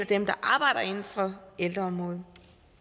dem der arbejder inden for ældreområdet